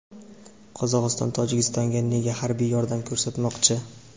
Qozog‘iston Tojikistonga nega harbiy yordam ko‘rsatmoqchi?.